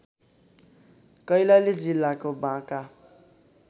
कैलाली जिल्लाको बाँका